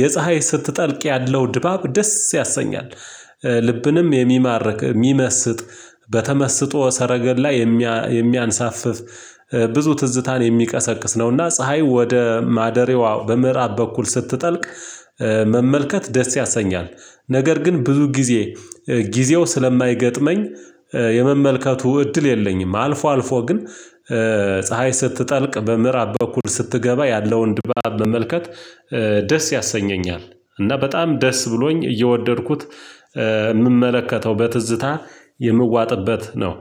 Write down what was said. የፀሀይ ስትጠልቅ ያለው ድባብ ደስ ያሰኛል ልብንም የሚማርክ የሚመስጥ በተመስጦ ሰረገላ የሚያንሳፍፍ ብዙ ትዝታን የሚቀሰቅስ ነው። እና ፀሀይ ወደ ማደሪያዋ በምዕራብ በኩል ስትጠልቅ መመልከት ደስ ያሰኛል ነገር ግን ብዙ ጊዜ ጊዜው ስለማይገጥመኝ። እድል የለኝም አልፎ አልፎ ግን ፀሀይ ስትጠልቅ በምዕራብ በኩል ስትገባ ያለውን ድባብ መመልከት ደስ ያሰኘኛል። እና በጣም ደስ ብሎኝ እየወደድኩት የምመለከተው በትዝታ የምዋጥበት ነው